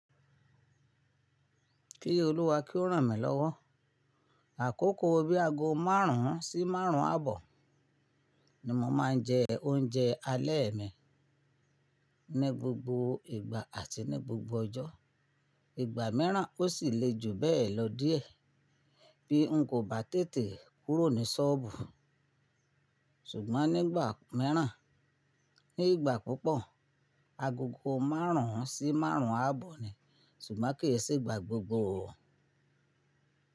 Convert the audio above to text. Kí Olúwa kí ó ràn mí lọ́wọ́. Àkókò bí aago márùn ún sí márùn ún àbọ̀ ni mo máa ń jẹ oúnjẹ alẹ́ mi ní gbogbo ìgbà àti ní gbogbo ọjọ́. Ìgbà mìíràn ó sì lè ju bẹ́ẹ̀ lọ díẹ̀ bí n kò bá tètè kúrò ní ṣọ́ọ̀bù. Ṣùgbọ́n nígbà mìíràn, nígbà púpọ̀, agogo márùn ún sí márùn ún àbọ̀ ni, ṣùgbọ́n kì í se ìgbà gbogbo o.